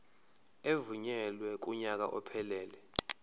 evunyelwe kunyaka ophelele